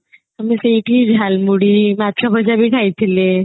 ହେଲେ ସେଇଠି ଝାଲମୁଢି ମାଛ ଭଜା ବି ଖାଇଥିଲେ